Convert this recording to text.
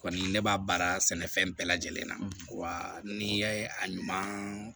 Kɔni ne b'a baara sɛnɛfɛn bɛɛ lajɛlen na wa n'i ye a ɲuman